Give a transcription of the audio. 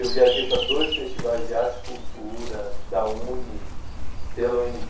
Eu viajei para dois festivais de arte e cultura, da UNE, pela u ene